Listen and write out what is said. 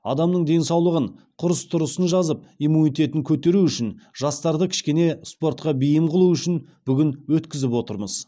адамның денсаулығын құрыс тұрысын жазып иммунитетін көтеру үшін жастарды кішкене спортқа бейім қылу үшін бүгін өткізіп отырмыз